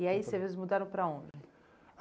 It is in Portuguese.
E aí, vocês mudaram para onde?